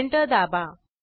enter दाबा